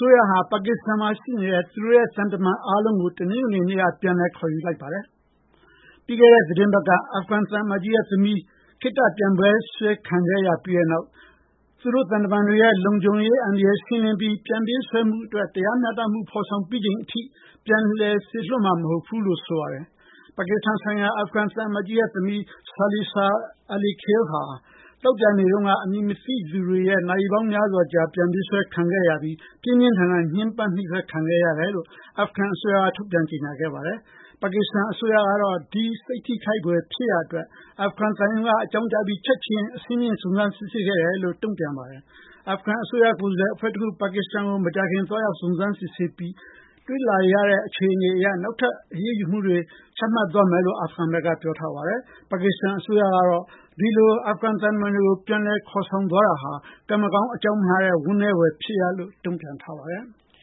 ိုးရဟာ ပါကစ္စတန်မှာရှိနေတဲ့ သူတို့ရဲ့ သံတမန်အားလုံးကို တနင်္ဂနွေနေ့က ပြန်လည် ခေါ်ယူလိုက်ပါတယ်။ ပြီးခဲ့တဲ့ သီတင်းပတ်က အာဖဂန်သံအမတ်ကြီးရဲ့သမီး ခေတ္တ ပြန်ပေးဆွဲ ခံခဲ့ရပြီးတဲ့နောက် သူတို့သံတမန်တွေရဲ့ လုံခြုံရေးအန္တရာယ်ကို ရှင်းလင်းပြီး ပြန်ပေးဆွဲမှုအတွက် တရားမျှတမှု ဖော်ဆောင်ပြီးချိန်ထိ ပြန်လည်စေလွှတ်မှာ မဟုတ်ဘူးလို့လည်း ဆိုပါတယ်။ ပါကစ္စတန်ဆိုင်ရာ အာဖဂန်သံအမတ်ကြီးရဲ့သမီး Silsila Alikhil ဟာ သောကြာနေ့တုန်းက အမည်မသိသူတွေရဲ့ နာရီပေါင်းများစွာကြာ ပြန်ပေးဆွဲခံခဲ့ရပြီး ပြင်းပြင်းထန်ထန် ညှင်းပန်းနှိပ်စက်ခံခဲ့ရတယ်လို့ အာဖဂန်အစိုးရက ထုတ်ပြန် ကြေညာခဲ့ပါတယ်။ ပါကစ္စတန်အစိုးရကတော့ ဒီ စိတ်ထိခိုက်ဖွယ် ဖြစ်ရပ်အတွက် အာဖဂန်သံရုံးက အကြောင်းကြားပြီး ချက်ချင်း အဆင့်မြင့် စုံစမ်းစစ်ဆေးခဲ့တယ်လို့ ဆိုပါတယ်။ အာဖဂန်ကိုယ်စားလှယ်အဖွဲ့တခု ပါကစ္စတန်ကို မကြာခင် သွားရောက် စုံစမ်းစစ်ဆေးပြီး တွေ့ရှိရတဲ့ အခြေအနေအရ နောက်ထပ် အရေးယူ ဆောင်ရွက်သွားမယ်လို့ ဆိုပါတယ်။ ပါကစ္စတန်အစိုးရကတော့ ဒီလို အာဖဂန်သံတမန်တွေကို ပြန်ခေါ်သွားတာဟာ ကံမကောင်း အကြောင်းမလှစွာနဲ့ ဝမ်းနည်းဖွယ်ကောင်းတဲ့ လုပ်ရပ်လို့ တုံ့ပြန်ထားပါတယ်။